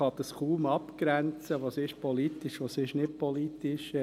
Man kann kaum abgrenzen, was politisch ist und was nicht.